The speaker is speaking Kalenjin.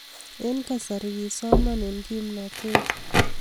eng kasarii kisoma eng kimnotee